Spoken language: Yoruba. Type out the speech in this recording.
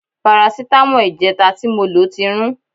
Parasítámọ̀ ìjẹta tí mo lò ti rún